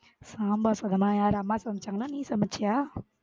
சாம்பார் சாதம்மா யாரு அம்மா சமைச்சாங்களா இல்ல நீ சமைச்சியா?